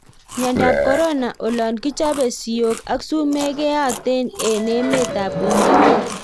Miondoop korona :olon kichopee siyok ak sumek keyatee eng emet AP uingereza